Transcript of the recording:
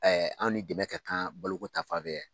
an ni dɛmɛ kɛ kan baloko ta fan fɛ